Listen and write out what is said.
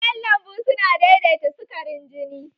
Kayan lambu su na daidaita sukarin jini